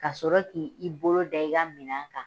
Ka sɔrɔ k'i i bolo da i ka minan kan.